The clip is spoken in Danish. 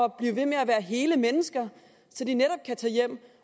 blive ved med at være hele mennesker så de netop kan tage hjem